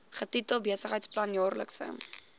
getitel besigheidsplan jaarlikse